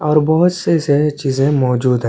और बहोत से सारी चीज़े मौजूद है।